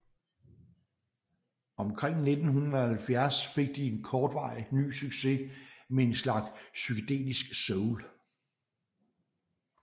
Omkring 1970 fik de en kortvarig ny succes med en slags psykedelisk soul